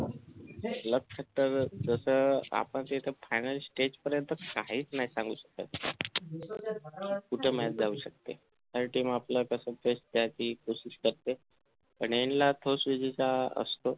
left जसं आपण जे येथे final stage पर्यंत काहीच नाही सांगू शकत कुठे match जाऊ शकते team कसं आपलं best पण ह्यांना असतो